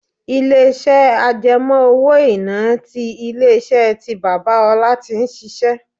Ilé iṣẹ́ àjẹmó-owó-iná ti ilé-iṣẹ́ tí bàbá Ọlá tí ń ṣíṣe.